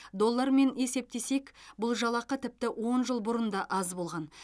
доллармен есептесек бұл жалақы тіпті он жыл бұрын да аз болған